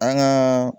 An gaa